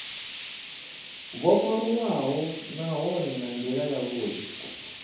vhofholowaho nahone nga ndila yavhudi